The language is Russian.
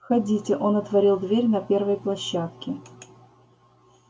входите он отворил дверь на первой площадке